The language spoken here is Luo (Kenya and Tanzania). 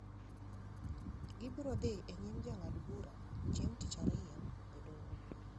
Gibiro dhi e nyim jang'ad bura chieng’ tich ariyo e doho.